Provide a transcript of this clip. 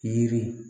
Yiri